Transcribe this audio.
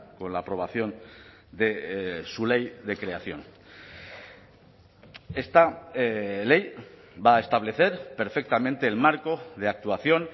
con la aprobación de su ley de creación esta ley va a establecer perfectamente el marco de actuación